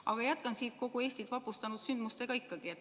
Aga ma jätkan kogu Eestit vapustanud sündmustega ikkagi.